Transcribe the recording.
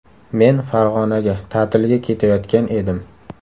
Men Farg‘onaga ta’tilga ketayotgan edim.